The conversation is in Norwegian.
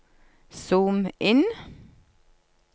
zoom inn